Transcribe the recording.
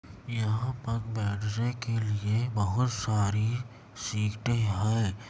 यहाँ पर बैठने के लिए बहुत सारी सीटे हैं।